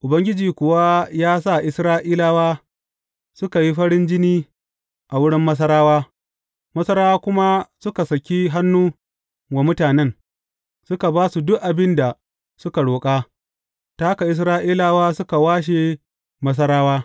Ubangiji kuwa ya sa Isra’ilawa suka yi farin jini a wurin Masarawa, Masarawa kuma suka saki hannu wa mutanen, suka ba su duk abin da suka roƙa; ta haka Isra’ilawa suka washe Masarawa.